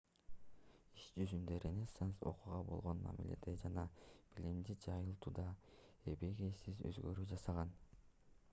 иш жүзүндө ренессанс окууга болгон мамиледе жана билимди жайылтууда эбегейсиз өзгөрүү жасаган